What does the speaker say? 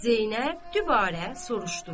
Zeynəb dübarə soruşdu.